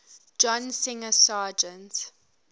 john singer sargent